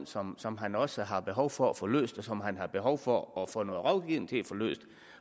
som som han også har behov for at få løst og som han har behov for at få noget rådgivning til at få løst